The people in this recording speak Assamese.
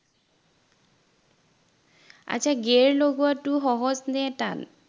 আচ্ছা gear লগোৱাটো সহজ নে টান?